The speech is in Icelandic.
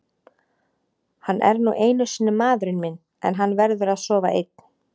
Hann er nú einu sinni maðurinn minn en hann verður að sofa einn.